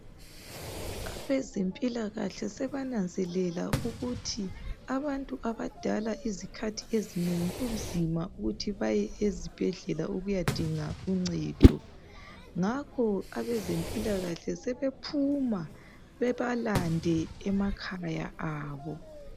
Abezempilakahle sebananzelela ukuthi abantu abadala izikhathi ezinengi kunzima ukuthi baye ezibhedlela bayedinga uncedo ngakho abezempilakahle sebephuma bebalande emakhaya abo.